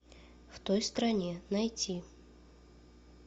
в той стране найти